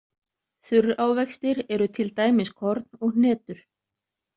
Þurrávextir eru til dæmis korn og hnetur.